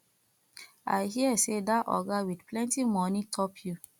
i hear say dat oga with plenty money top you